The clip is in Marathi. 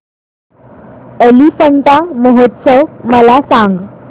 एलिफंटा महोत्सव मला सांग